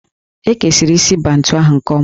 E kesiri isi Bantu ahụ nke ọma